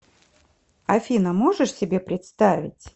афина можешь себе представить